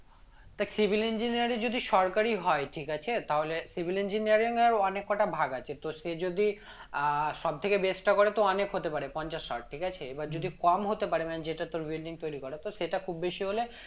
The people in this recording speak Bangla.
দেখ civil engineer এ যদি সরকারি হয় ঠিক আছে তাহলে civil engineer এর অনেক কটা ভাগ আছে তো সে যদি আহ সব থেকে best টা করে তো অনেক হতে পারে পঞ্চাশ ষাট ঠিক আছে এবার যদি কম হতে পারে মানে যেটা তোর building তৈরি করা তো সেটা খুব বেশি হলে